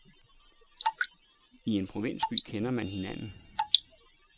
I en provinsby kender man hinanden.